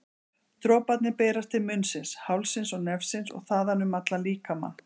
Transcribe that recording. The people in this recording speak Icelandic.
Droparnir berast til munnsins, hálsins og nefsins og þaðan um allan líkamann.